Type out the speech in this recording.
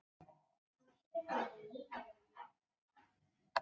við íslendingar skörum líka fram úr á ýmsum sviðum